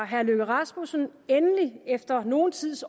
herre løkke rasmussen endelig efter nogen tids